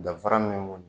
Danfara min b'u